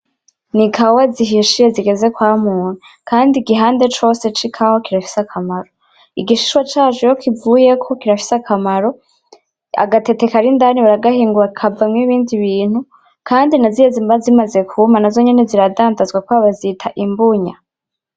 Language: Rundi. N'ikawa zihishiye zigeze kwamura, kandi igihande cose c'ikawa kirafise akamaro, igishishwa caco iyo kivuyeko kirafise akamaro, agateke kari indani baragahingura kakavamwo ibindi bintu, kandi nazirya ziba zimaze kwuma nazo nyene zirandandazwa kubera bazita imbunya.